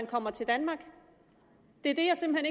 kommer til danmark det er det jeg simpelt